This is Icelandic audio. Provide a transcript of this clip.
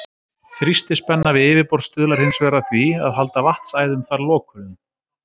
Þrýstispenna við yfirborð stuðlar hins vegar að því að halda vatnsæðum þar lokuðum.